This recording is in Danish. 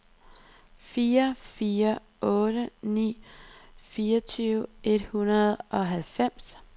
fire fire otte ni fireogtyve et hundrede og halvfems